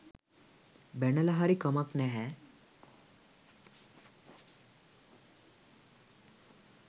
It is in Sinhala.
බැනලා හරි කමක් නැහැ.